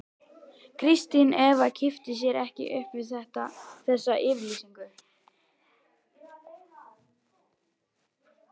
Kristín Eva kippti sér ekki upp við þessa yfirlýsingu.